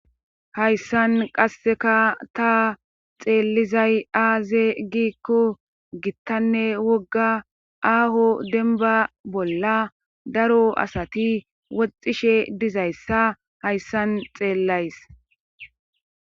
hayssan qasseka ta xeellizay aaze gikko gittanne wogga aaho denba bolla daro asati woxxishe dizayssa hayssan xeellays